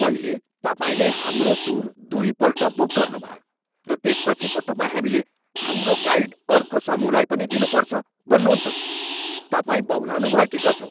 पहिले, तपाईँले हाम्रो टुर दुईपल्ट बुक गर्नुभयो र त्यसपछि पो तपाईँ हामीले हाम्रो गाइड अर्को समूहलाई पनि दिनुपर्छ भन्नुहुन्छ। तपाईँ बहुलाउनुभयो कि कसो?